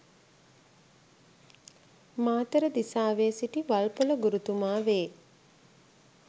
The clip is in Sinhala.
මාතර දිසාවේ සිටි වල්පොල ගුරුතුමා වේ.